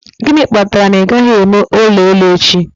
Gịnị kpatara na ị gaghị eme ụlọ elu echi?